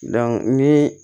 ni